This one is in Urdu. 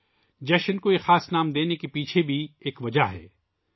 اس تہوار کو یہ خاص نام دینے کے پیچھے بھی ایک وجہ ہے